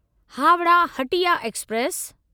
Howrah Hatia express